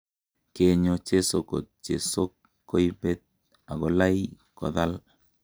Kenyo chesokot chesok koibet agolai kothal.